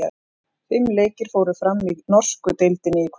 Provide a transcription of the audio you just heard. Fimm leikir fóru fram í norsku deildinni í kvöld.